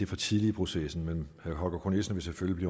for tidligt i processen men herre holger k nielsen vil selvfølgelig